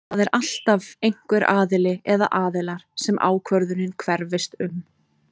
Það er alltaf einhver aðili eða aðilar sem ákvörðunin hverfist um.